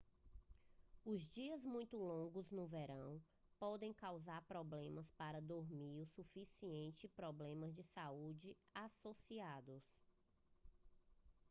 os dias muito longos no verão podem causar problemas para dormir o suficiente e problemas de saúde associados